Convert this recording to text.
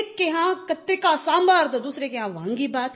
एक के यहाँ कत्ते का सांभर तो दूसरे के यहाँ वांगी भात